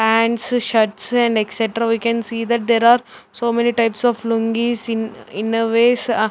pants shirts and etcetera we can see that there are so many types of lungis in innerwears ah --